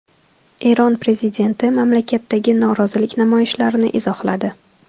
Eron prezidenti mamlakatdagi norozilik namoyishlarini izohladi.